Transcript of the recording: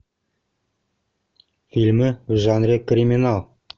фильмы в жанре криминал